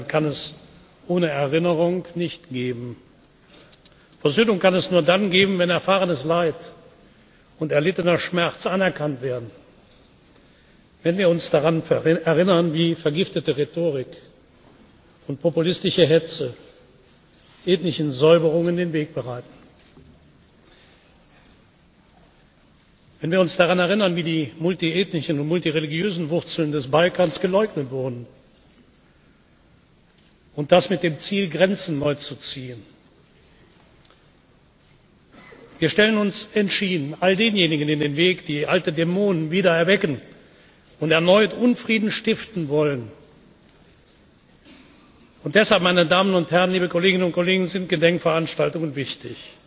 Versöhnung kann es ohne Erinnerung nicht geben. Versöhnung kann es nur dann geben, wenn erfahrenes Leid und erlittener Schmerz anerkannt werden, wenn wir uns daran erinnern, wie vergiftete Rhetorik und populistische Hetze ethnischen Säuberungen den Weg bereiten, wenn wir uns daran erinnern, wie die multiethnischen und multireligiösen Wurzeln des Balkans geleugnet wurden und das mit dem Ziel, Grenzen neu zu ziehen. Wir stellen uns entschieden all denjenigen in den Weg, die alte Dämonen wieder erwecken und erneut Unfrieden stiften wollen. Deshalb, meine Damen und Herren, liebe Kolleginnen und Kollegen, sind Gedenkveranstaltungen